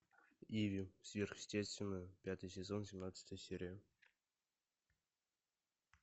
иви сверхъестественное пятый сезон семнадцатая серия